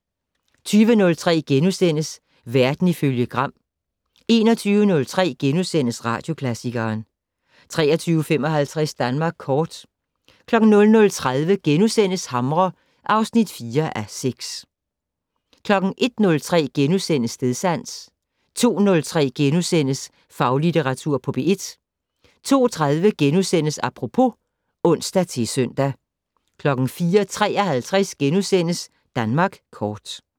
20:03: Verden ifølge Gram * 21:03: Radioklassikeren * 23:55: Danmark kort 00:30: Hamre (4:6)* 01:03: Stedsans * 02:03: Faglitteratur på P1 * 02:30: Apropos *(ons-søn) 04:53: Danmark kort *